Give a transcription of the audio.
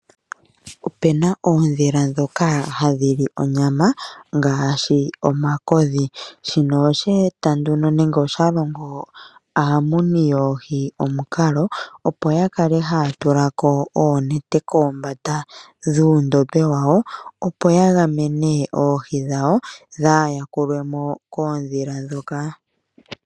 Opuna oondhila ndhoka hadhi li onyama ngaashi omakodhi, shino osheeta nduno nenge osha longo aamuni yoohi omukalo, opo ya kale haya tula ko oonete kombanda dhuundombe wawo, opo ya gamene oohi dhawo dhaa yakulwe mo koondhila ndhoka.